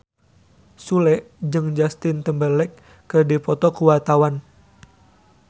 Sule jeung Justin Timberlake keur dipoto ku wartawan